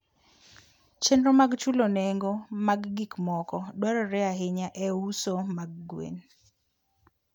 Chenro mag chulo nengo mag gik moko dwarore ahinya e uso mag gwen.